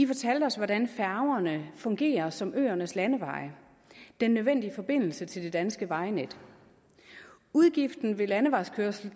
fortalte os hvordan færgerne fungerer som øernes landeveje den nødvendige forbindelse til det danske vejnet udgifterne ved landevejskørsel